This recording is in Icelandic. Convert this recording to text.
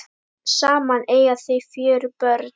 Saman eiga þau fjögur börn.